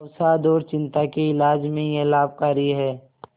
अवसाद और चिंता के इलाज में यह लाभकारी है